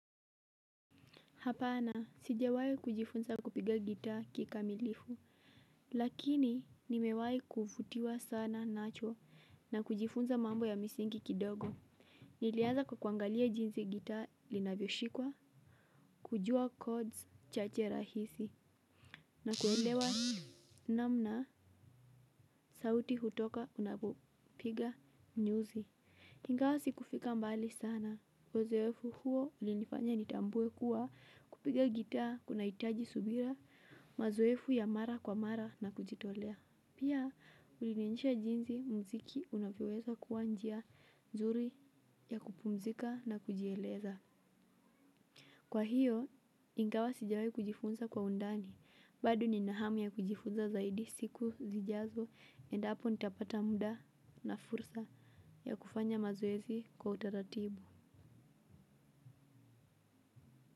Hapana, sijewayi kujifunza kupiga gita kikamilifu. Lakini, nimewayi kufutiwa sana nacho na kujifunza mambo ya misingi kidogo. Niliaza kwa kuangalia jinzi gita linavyo shikwa, kujua chords chache rahisi, na kuelewa namna sauti hutoka unapiga nyuzi. Ingawa sikufika mbali sana, uzoefu huo ulinifanya nitambuwe kuwa kupiga gita kuna itaji subira, mazoefu ya mara kwa mara na kujitolea. Pia ulinenisha jinzi mziki unapiweza kuwa njia zuri ya kupumzika na kujieleza. Kwa hiyo ingawa sijawai kujifunza kwa undani bado ninahamu ya kujifunza zaidi siku zijazo endapo nitapata muda na fursa ya kufanya mazoezi kwa utaratubu.